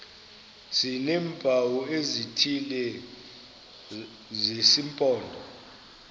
sineempawu ezithile zesimpondo